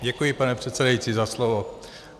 Děkuji, pane předsedající, za slovo.